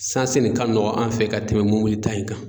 Sansi le ka nɔgɔn an fɛ ka tɛmɛ mɔbili ta in kan